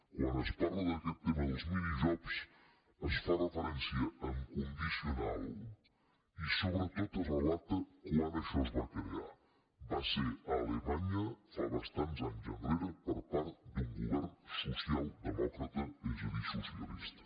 quan es parla d’aquest tema dels mini jobs es fa referència en condicional i sobretot es relata quan això es va crear va ser a alemanya bastants anys enrere per part d’un govern socialdemòcrata és a dir socialista